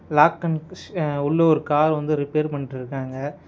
Lock and ஷ்ய உள்ள ஒரு கார் வந்து ரிப்பேர் பண்ட்டுருக்காங்க.